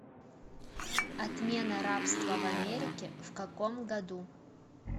отмена рабства в америке в каком году